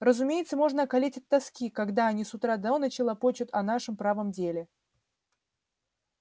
разумеется можно околеть от тоски когда они с утра до ночи лопочут о нашем правом деле